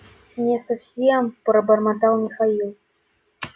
не совсем пробормотал михаил